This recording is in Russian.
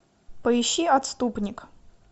поищи отступник